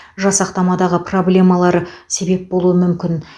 жасақтамадағы проблемалары себеп болуы мүмкін